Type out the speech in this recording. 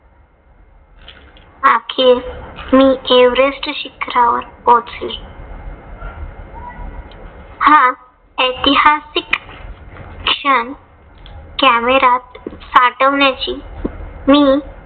अखेर मी एव्हरेस्ट शिखरावर पोहोंचले. हा ऐतिहासिक क्षण camera त साठवण्याची मी